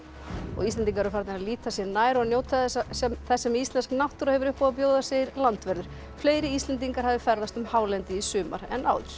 Íslendingar eru farnir að líta sér nær og njóta þess sem þess sem íslensk náttúra hefur upp á að bjóða segir landvörður fleiri Íslendingar hafi ferðast um hálendið í sumar en áður